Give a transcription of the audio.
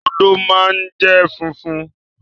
Odò ma jẹ fúnfún.